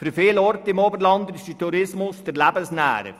Für viele Orte im Oberland ist der Tourismus der Lebensnährer.